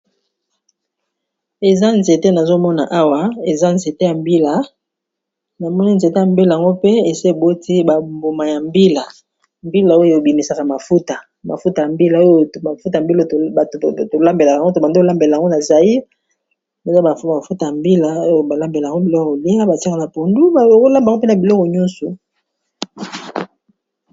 eza nzete nazomona awa eza nzete ya mbila namoni nzete ya mbilango pe eseboti bambuma ya mbila mbila oyo ebimisaka mafuta mafuta ya mbila oyo mafuta mbilo tolambelakayngo to bando olambela yango na zai eza mafuta ya mbila oyo balambelango biloko olia batika na pundu olabango mpena biloko nyonso